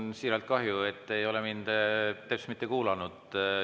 Mul on siiralt kahju, et te ei ole mind teps mitte kuulanud.